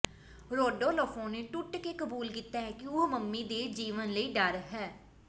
Rodolfo ਨੇ ਟੁੱਟ ਕੇ ਕਬੂਲ ਕੀਤਾ ਕਿ ਉਹ ਮਮੀ ਦੇ ਜੀਵਨ ਲਈ ਡਰ ਹੈ